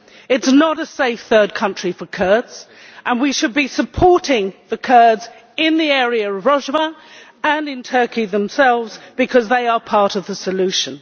It is not a safe third country for Kurds and we should be supporting the Kurds in the area of Rojava, and in Turkey itself, because they are part of the solution.